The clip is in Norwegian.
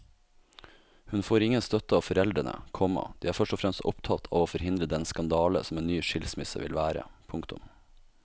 Hun får ingen støtte av foreldrene, komma de er først og fremst opptatt av å forhindre den skandale som en ny skilsmisse vil være. punktum